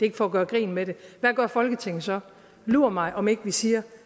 ikke for at gøre grin med det hvad gør folketinget så lur mig om ikke vi siger